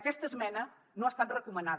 aquesta esmena no ha estat recomanada